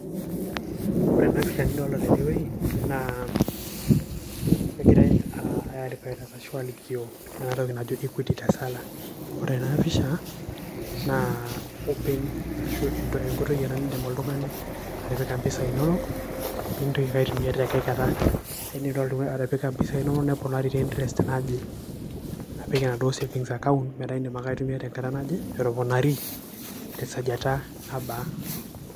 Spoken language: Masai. Ore ena pisha nidolta tenewei naa, kegirai ai advertise ashu alikio enatoki najo Equity Tesala. Ore ena pisha, naa open ashu enkoitoi ena nidim oltung'ani atipika mpisai nonok, pintoki ake aitumia tenkae kata. Idim atipika mpisai nonok neponari te interest naje. Apik enaduo saving account metaa idim ake aitumia tenkata naje, etoponari tesajata nabaa.